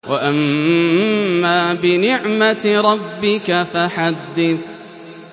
وَأَمَّا بِنِعْمَةِ رَبِّكَ فَحَدِّثْ